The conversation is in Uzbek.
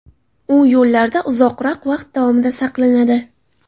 U yo‘llarda uzoqroq vaqt davomida saqlanadi.